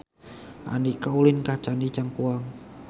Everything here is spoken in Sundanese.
Andika ulin ka Candi Cangkuang